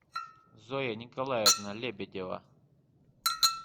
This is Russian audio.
зоя николаевна лебедева